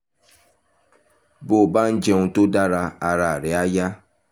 bó o bá ń jẹun tó dára ara rẹ̀ á yá